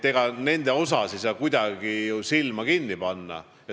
Ega nende ees ei saa ju kuidagi silmi kinni panna.